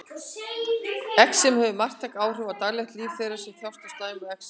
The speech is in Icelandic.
Exem hefur marktæk áhrif á daglegt líf þeirra sem þjást af slæmu exemi.